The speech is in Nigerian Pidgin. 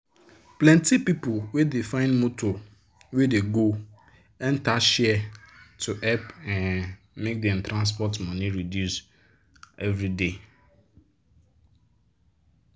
plenti people dey find motor wey dey go enter share to help um make dem transport money reduce everyday.